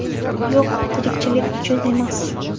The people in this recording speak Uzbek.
Yo‘q, tirikchilik uchun emas.